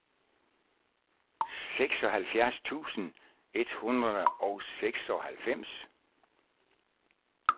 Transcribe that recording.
seksoghalvfjerds tusind et hundrede og seksoghalvfems